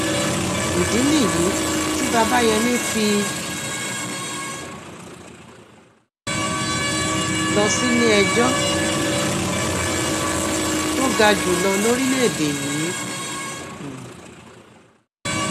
ìdí nìyí tí babayémi fi lọ síléẹjọ́ um tó ga jù lọ lórílẹ̀èdè yìí um